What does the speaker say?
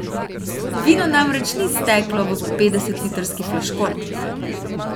Vino namreč ni steklo v petdesetlitrski flaškon.